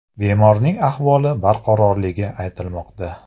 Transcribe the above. Bemorning ahvoli barqarorligi aytilmoqda.